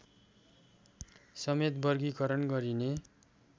समेत वर्गीकरण गरिने